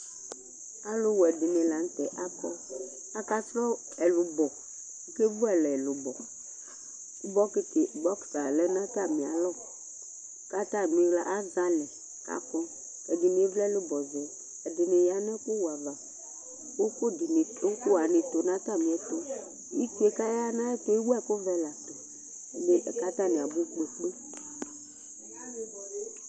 Aluwɛ ɖìŋí la ŋtɛ akɔ Akasrɔ ɛlʋbɔ Akevualɛ ɛlubɔ Bɔkit lɛ ŋu atami alɔ Atamiɣla azɛ alɛ kʋ akɔ Ɛɖìní evli ɛlubɔ zɛ Ɛɖìní ɣa ŋu ɛku wɛ ava Ʋkuwaŋi tu ŋu atami ɛtu Itsuɛ kʋ aɣa ŋu ɛɣɛtu, ɛwu ɛku vɛ tu kʋ ataŋi abu kpe kpe